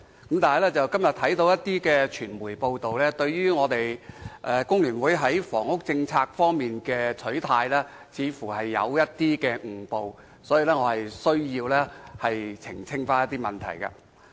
可是，我今天看到某些傳媒報道工聯會在房屋政策的取態，似乎出現誤會，我因而需要澄清一些問題。